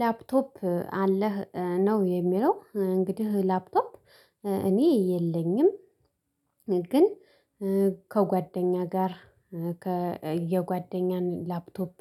"ላፕቶፕ አለህ?" ነው የሚለው፤ እንግዲህ ላፕቶፕ እኔ የለኝም፤ ግን ከጓደኛዬ ጋር ከ የጓደኛዬን ላፕቶፕ